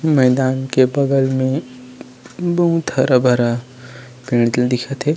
मैदान के बगल में बहुत हरा-भरा पेड़ दिखत हे।